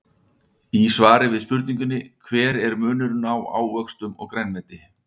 Í svari við spurningunni Hver er munurinn á ávöxtum og grænmeti?